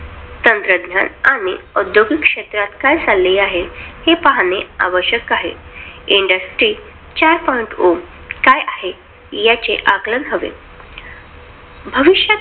तंत्रज्ञान आणि औद्योगिक क्षेत्रात काय चाललंआहे? हे पाहणं आवश्यक आहे. Industry chart point o काय आहे? याचे आकलन हवे.